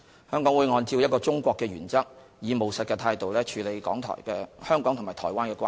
香港會按照一個中國的原則，以務實態度處理香港和台灣的關係。